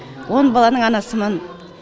он баланың анасымын